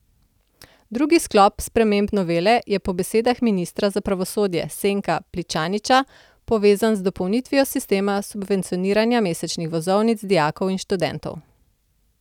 Drugi sklop sprememb novele je po besedah ministra za pravosodje Senka Pličaniča povezan z dopolnitvijo sistema subvencioniranja mesečnih vozovnic dijakov in študentov.